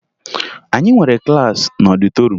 Anyị nwere klaasị n'ọdịtoruum